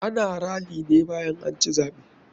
Ana rally ne bayan anci zaɓe.